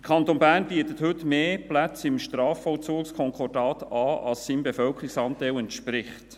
Der Kanton Bern bietet heute im Strafvollzugskonkordat mehr Plätze, als es seinem Bevölkerungsanteil entspricht.